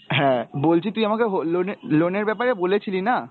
হ্যাঁ বলছি তুই আমাকে হো~ loan এর loan এর ব্যাপারে বলেছিলি না?